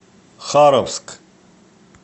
харовск